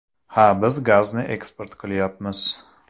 Ha, biz gazni eksport qilyapmiz.